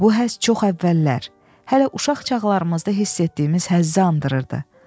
Bu həzz çox əvvəllər, hələ uşaq çağlarımızda hiss etdiyimiz həzzi xatırladırdı.